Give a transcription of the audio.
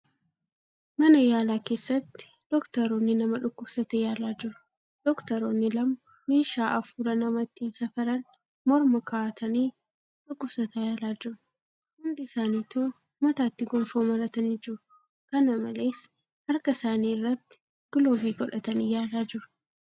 Mana yaalaa keessatti dooktaroonni nama dhukkubsate yaalaa jiru. Dooktaroonni lama meeshaa afuura nama ittiin safaran morma kaa'atanii dhukkubsataa yaalaa jiru. Hundi isaanitu mataatti gonfoo maratanii jiru. kana malees, harka isaanii irratti giloovii godhatanii yaalaa jiru.